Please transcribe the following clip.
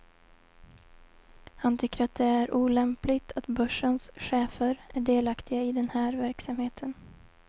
Han tycker att det är olämpligt att börsens chefer är delaktiga i den här verksamheten.